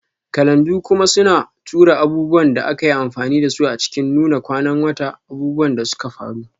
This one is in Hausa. Kalanda kuma suna tura abubuwan da aka yi amfani da su a cikin Nuna kwanan wata, abubuwan da suka faru,